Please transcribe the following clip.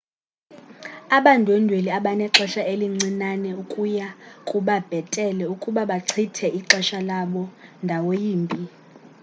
abandwendweli abanexehsa elincinane kuya kuba bhetele ukuba bachithe ixesha labo ndawo yimbi